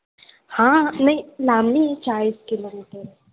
हां हां नाही लांब नाही आहे चाळीस kilometer आहे.